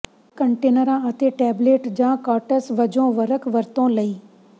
ਕੰਟੇਨਰਾਂ ਅਤੇ ਟੇਬਲੇਟ ਜਾਂ ਕਾੱਟਸ ਵਜੋਂ ਵਰਕ ਵਰਤੋਂ ਲਈ